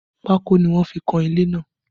Pako ni wọ́n fi kan ilé náà